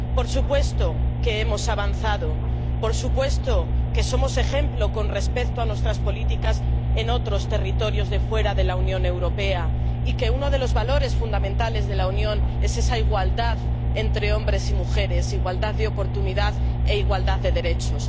Por supuesto que hemos avanzado, por supuesto que somos ejemplo por lo respecto a nuestras políticas en otros territorios fuera de la Unión Europea y que uno de los valores fundamentales de la Unión es esa igualdad entre hombres y mujeres, igualdad de oportunidades e igualdad de derechos.